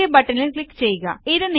okay ബട്ടണിൽ click ചെയ്യുക